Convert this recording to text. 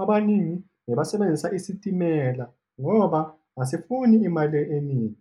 abaningi bebasebenzisa isitimela ngoba asifuni imali eningi eningi.